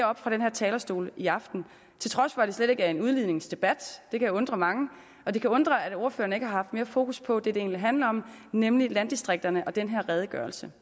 oppe fra den her talerstol i aften til trods for at det slet ikke er en udligningsdebat det kan undre mange og det kan undre at ordførerne ikke har haft mere fokus på det det egentlig handler om nemlig landdistrikterne og den her redegørelse